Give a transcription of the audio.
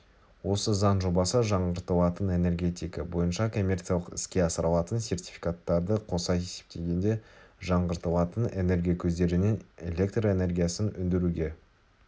осы заң жобасы жаңғыртылатын энергетика бойынша коммерциялық іске асырылатын сертификаттарды қоса есептегенде жаңғыртылатын энергия көздерінен электр энергиясын өндіруге